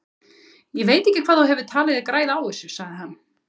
Ég veit ekki hvað þú hefur talið þig græða á þessu, sagði hann.